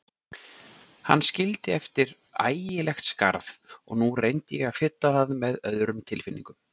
Hann skildi eftir ægilegt skarð og nú reyndi ég að fylla það með öðrum tilfinningum.